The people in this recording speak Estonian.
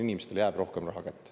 Inimestele jääb rohkem raha kätte.